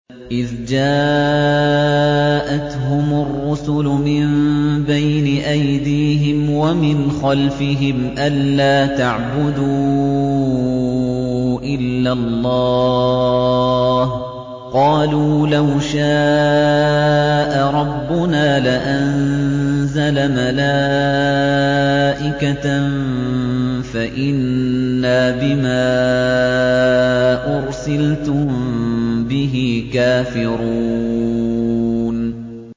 إِذْ جَاءَتْهُمُ الرُّسُلُ مِن بَيْنِ أَيْدِيهِمْ وَمِنْ خَلْفِهِمْ أَلَّا تَعْبُدُوا إِلَّا اللَّهَ ۖ قَالُوا لَوْ شَاءَ رَبُّنَا لَأَنزَلَ مَلَائِكَةً فَإِنَّا بِمَا أُرْسِلْتُم بِهِ كَافِرُونَ